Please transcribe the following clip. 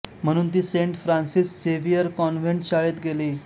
म्हणून ती saint Francis Xavier convent शाळेत गेली